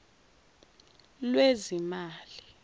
lwezimali